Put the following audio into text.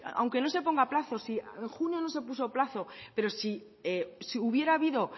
aunque no se ponga plazo si en junio no se puso plazo pero si hubiera habido